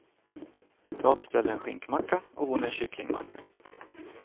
Jag beställer en skinkmacka och hon en kycklingmacka.